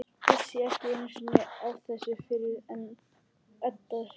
Vissi ekki einu sinni af þessu fyrr en Edda hringdi.